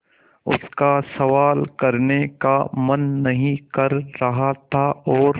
उसका सवाल करने का मन नहीं कर रहा था और